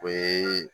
O ye